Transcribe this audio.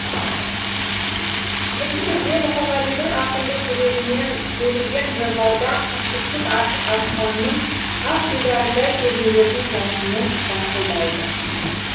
енді бірде мұқағалидың ақындық жүрегінен төгілген жырлардан кіршіксіз ашық аспанның ақ дидарындай сезімдердің жасыны жарқылдайды